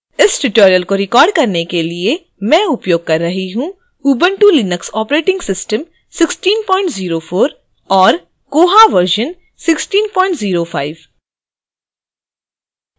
इस tutorial को record करने के लिए मैं उपयोग कर रही हूँ ubuntu linux operating system 1604 और koha version 1605